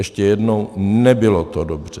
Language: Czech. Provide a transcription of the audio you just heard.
Ještě jednou: nebylo to dobře.